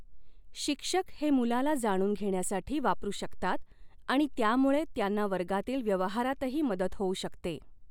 शिक्षक हे मुलाला जाणून घेण्यासाठी वापरू शकतात आणि त्यामुळे त्यांना वर्गातील व्यवहारातही मदत हॊऊ शकते.